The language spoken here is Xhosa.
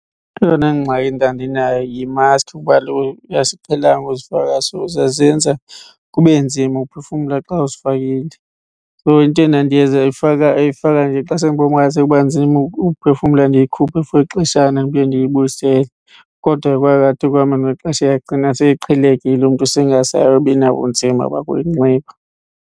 Eyona ngxaki ndandinayo yi-maski kuba kaloku asiqhelanga uzifaka so zazenza kube nzima uphefumla xa uzifakile. So into endandiyenza uyifaka, uyifaka nje xa sendibona uba ingathi sekuba nzima ukuphefumla ndiyikhuphe for ixeshana ndiphinde ndiyibuyisele. Kodwa kwathi ekuhambeni kwexesha yagcina seyiqhelekile, umntu sengasabi nabunzima bakuyinxiba.